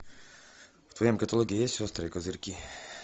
в твоем каталоге есть острые козырьки